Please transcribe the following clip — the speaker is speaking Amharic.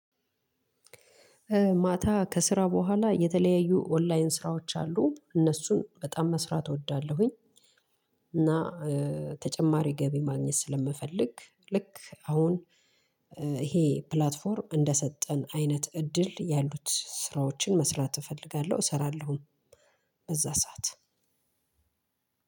ማታ ከስራ በኋላ የተለያዩ ኦንላይን ስራዎች አሉ እነሱን በጣም መስራት እወዳለሁኝ። እና ተጨማሪ ገቢ ማግኘት ስለምፈልግ ልክ አሁን ይሄ ፕላትፎርም እንደሰጠን አይነት እድል ያሉት ስራዎችን መስራት እፈልጋለሁ እሰራለሁ። በዛ ሰዓት።